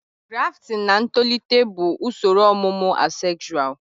Grafting na ntolite bụ usoro ọmụmụ asexual